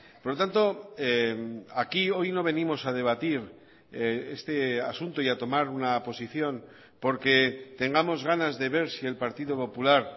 por lo tanto aquí hoy no venimos a debatir este asunto y a tomar una posición porque tengamos ganas de ver si el partido popular